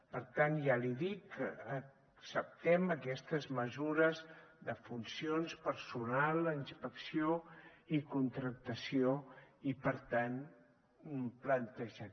per tant ja li dic que acceptem aquestes mesures de funcions personal inspecció i contractació i per tant hem plantejat